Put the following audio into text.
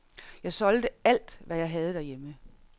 Jeg solgte alt, hvad jeg havde herhjemme.